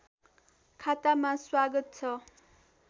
खातामा स्वागत छ